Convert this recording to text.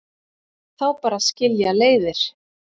Þá bara skilja leiðir